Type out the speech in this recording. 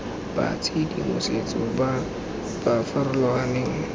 ba tshedimosetso ba ba farologaneng